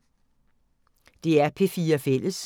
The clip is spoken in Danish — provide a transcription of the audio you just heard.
DR P4 Fælles